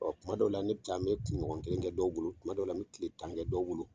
Ɔ kuma dɔw la, ne taa n bɛ kunɲɔgɔn kelen kɛ dɔw bolo, kuma dɔw dɔ la, n bɛ tile tan kɛ dɔw bolo!